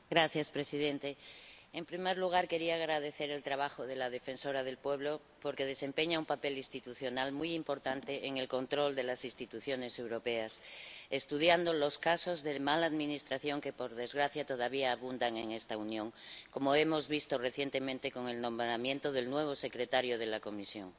Señor presidente, en primer lugar, quería agradecer el trabajo del Defensor del Pueblo porque desempeña un papel institucional muy importante en el control de las instituciones europeas, estudiando los casos de mala administración que, por desgracia, todavía abundan en esta Unión, como hemos visto recientemente con el nombramiento del nuevo secretario general de la Comisión.